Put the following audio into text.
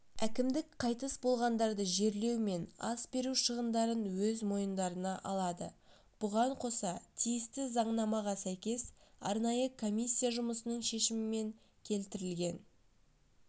әкімдік қайтыс болғандарды жерлеу мен ас беру шығындарын өз мойындарына алады бұған қоса тиісті заңнамаға сәйкес арнайы комиссия жұмысының шешімімен келтірілген